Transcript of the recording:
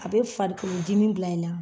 A be farikolo dimi bila i la